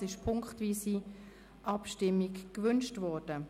Es ist ziffernweise Abstimmung gewünscht worden.